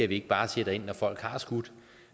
vi ikke bare sætter ind når folk har skudt